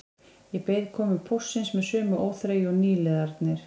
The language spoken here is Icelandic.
Ég beið komu póstsins með sömu óþreyju og nýliðarnir